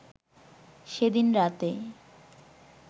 সেদিন রাতে